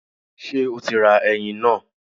Ṣé o ti ra ẹyin náà?